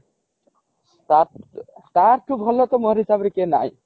ତା ତା ଠୁ ଭଲ ତା ମୋ ହିସାବରେ କିଏ ନାହିଁ